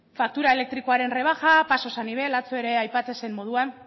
faktura elektrikoaren rebaja pasos a nivel atzo ere aipatzen zen moduan